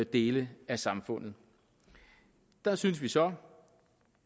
dele af samfundet der synes vi så